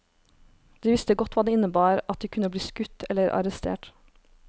De visste godt hva det innebar, at de kunne bli skutt eller arrestert.